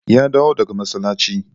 Ya dawo daga masallaci.